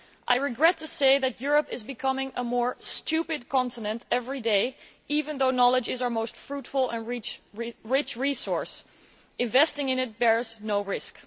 I regret to say that Europe is becoming a more stupid continent every day, even though knowledge is our most fruitful and rich resource. Investing in it bears no risk.